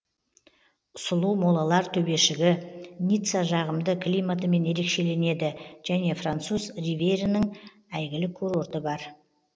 сұлу молалар төбешігі ницца жағымды климатымен ерекшеленеді және француз ривьерінің әйгілі курорты бар